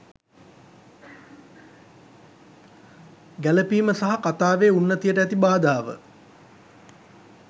ගැලපීම සහ කතාවේ උන්නතියට ඇති බාධාව